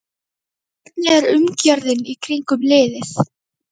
Hvernig er umgjörðin í kringum liðið?